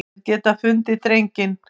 Þeir geta fundið drenginn.